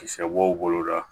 Kisɛ b'o boloda